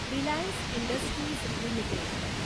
Reliance Industries limited